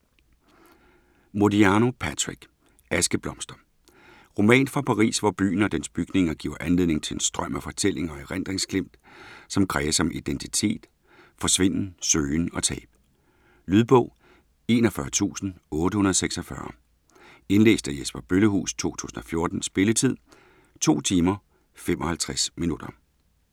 Modiano, Patrick: Askeblomster Roman fra Paris, hvor byen og dens bygninger giver anledning til en strøm af fortællinger og erindringsglimt, som kredser om identitet, forsvinden, søgen og tab. Lydbog 41846 Indlæst af Jesper Bøllehuus, 2014. Spilletid: 2 timer, 55 minutter.